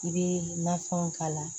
I bɛ nafɛnw k'a la